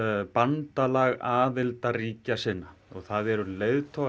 bandalag aðildarríkja sinna og það eru leiðtogar